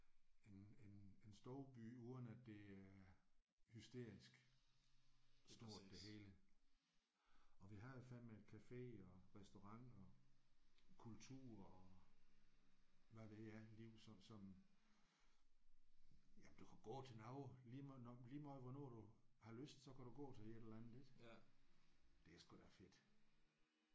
En en en storby uden at det er hysterisk stort det hele. Og vi har jo fandeme café og restaurant og kultur og hvad ved jeg liv sådan som jamen du kan gå til noget lige meget når lige meget hvornår du har lyst så kan du gå til et eller andet ik? Det er sgu da fedt